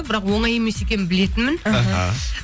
бірақ оңай емес екенін білетінмін аха